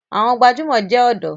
Àwọn gbajúmọ̀ jẹ ọ̀dọ́.